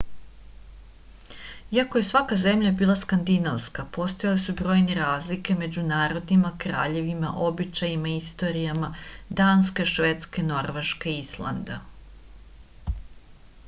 iako je svaka zemlja bila skandinavska postojale su brojne razlike među narodima kraljevima običajima i istorijama danske švedske norveške i islanda